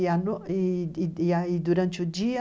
E a no, e e aí, durante o dia,